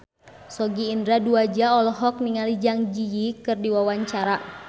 Sogi Indra Duaja olohok ningali Zang Zi Yi keur diwawancara